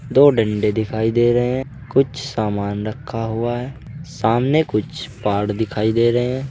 दो डंडे दिखाई दे रहे हैं कुछ सामान रखा हुआ है सामने कुछ पहाड़ दिखाई दे रहे हैं।